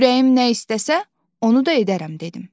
Ürəyim nə istəsə, onu da edərəm dedim.